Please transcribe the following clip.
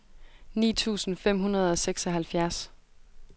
ni tusind fem hundrede og seksoghalvfjerds